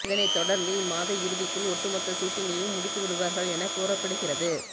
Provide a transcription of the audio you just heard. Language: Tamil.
இதனைத் தொடர்ந்து இம்மாத இறுதிக்குள் ஒட்டு மொத்த சூட்டிங்கையும் முடித்துவிடுவார்கள் என கூறப்படுகிறது